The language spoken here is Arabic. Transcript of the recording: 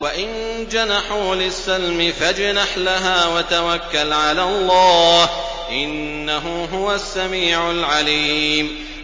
۞ وَإِن جَنَحُوا لِلسَّلْمِ فَاجْنَحْ لَهَا وَتَوَكَّلْ عَلَى اللَّهِ ۚ إِنَّهُ هُوَ السَّمِيعُ الْعَلِيمُ